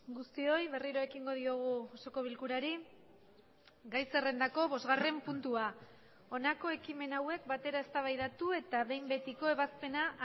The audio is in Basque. guztioi berriro ekingo diogu osoko bilkurari gai zerrendako bosgarren puntua honako ekimen hauek batera eztabaidatu eta behin betiko ebazpena